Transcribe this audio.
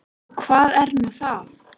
Og hvað er nú það?